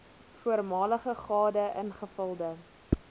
voormalige gade ingevulde